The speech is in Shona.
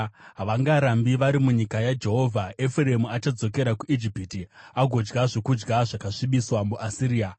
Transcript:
Havangarambi vari munyika yaJehovha; Efuremu achadzokera kuIjipiti agodya zvokudya zvakasvibiswa muAsiria.